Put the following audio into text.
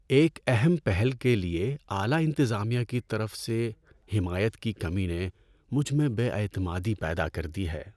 ایک اہم پہل کے لیے اعلی انتظامیہ کی طرف سے حمایت کی کمی نے مجھ میں بے اعتمادی پیدا کر دی ہے۔